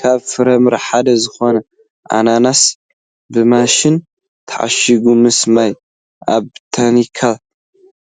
ካብ ፍራምረ ሓደ ዝኮነ ኣናናስ ብማሽን ተከርቲፉ ምስ ማዩ ኣብ ታኒካ